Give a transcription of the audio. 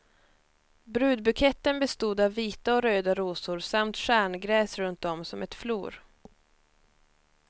Brudbuketten bestod av vita och röda rosor samt stjärngräs runt om som ett flor.